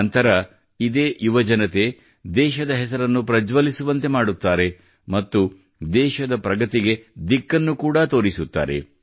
ನಂತರ ಇದೇ ಯುವಜನತೆ ದೇಶದ ಹೆಸರನ್ನು ಪ್ರಜ್ವಲಿಸುವಂತೆ ಮಾಡುತ್ತಾರೆ ಮತ್ತು ದೇಶದ ಪ್ರಗತಿಗೆ ದಿಕ್ಕನ್ನು ಕೂಡಾ ತೋರಿಸುತ್ತಾರೆ